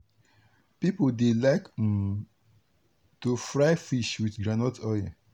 people dey like um to fry fish with groundnut oil.